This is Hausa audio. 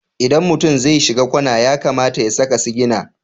Idan mutum zai shiga kwana ya kamata ya saka sigina.